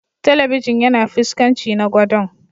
Telibijin yana fuskanci na godon.